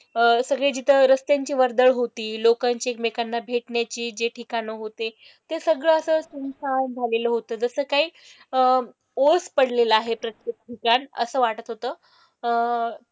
अह सगळं जिथे रस्त्यांची वर्दळ होती, लोकांची एकमेकांना भेटण्याची जे ठिकाणं होते ते सगळं असं सुनसान झालेलं होतं, जसं काही अह ओस पडलेला आहे प्रत्येक ठिकाण असं वाटत होतं. अह